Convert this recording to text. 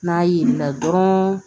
N'a yelenna dɔrɔn